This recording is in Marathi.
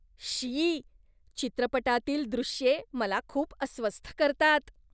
शी! चित्रपटातील दृश्ये मला खूप अस्वस्थ करतात.